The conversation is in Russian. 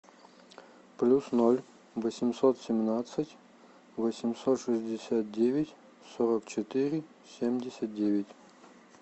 плюс ноль восемьсот семнадцать восемьсот шестьдесят девять сорок четыре семьдесят девять